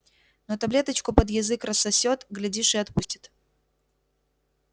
но таблеточку под язык рассосёт глядишь и отпустит